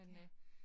Ja